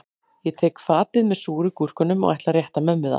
Ég tek fatið með súru gúrkunum og ætla að rétta mömmu það